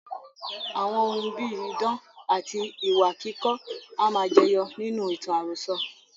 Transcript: Àwọn ohun bíi idán, àti ìwà kíkọ́ a máa jẹyọ nínú ìtàn àròsọ.